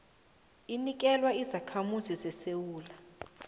inikelwa izakhamuzi zesewula